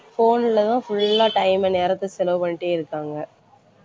phone லதான் full ஆ time அ நேரத்தை செலவு பண்ணிட்டேயிருக்காங்க